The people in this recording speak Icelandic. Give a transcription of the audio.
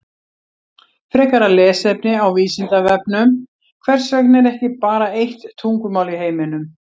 Frekara lesefni á Vísindavefnum Hvers vegna er ekki bara eitt tungumál í heiminum?